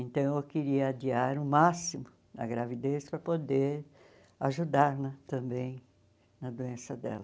Então eu queria adiar o máximo a gravidez para poder ajudar né também na doença dela.